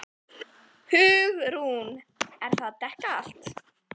HUgrún: Er það að dekka allt?